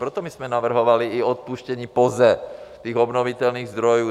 Proto my jsme navrhovali i odpuštění POZE, těch obnovitelných zdrojů.